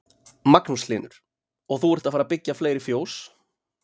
Magnús Hlynur: Og þú ert að fara byggja fleiri fjós?